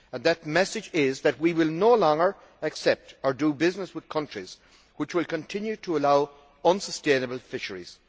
That message is that we will no longer accept or do business with countries which continue to allow unsustainable fisheries.